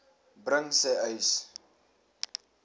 bring sê uys